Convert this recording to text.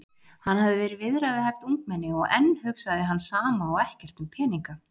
Hann hafði verið viðræðuhæft ungmenni og enn hugsaði hann sama og ekkert um peninga.